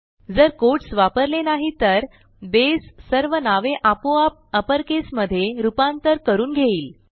जर कोट्स वापरले नाही तर बसे सर्व नावे आपोआप अपर caseमधे रूपांतर करून घेईल